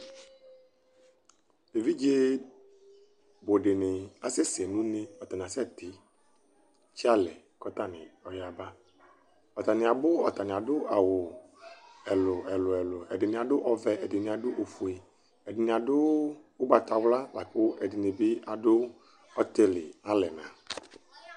evidze bò dini asɛ sɛ n'une atani asɛ titse alɛ k'atani yaba atani abò atani ado awu ɛlu ɛlu ɛlu ɛdini ado ɔvɛ ɛdini ado ofue ɛdini ado ugbata wla lako ɛdini bi ado ɔtili alɛna